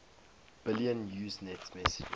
billion usenet messages